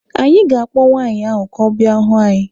Anyị ga-akpọ nwaanyị ahụ ka ọ bịa hụ anyị.